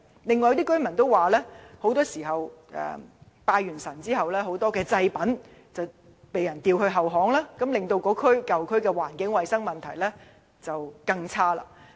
此外，有居民投訴，在進行拜祭後，很多祭品往往被丟在後巷，令該舊區的衞生環境變得更差。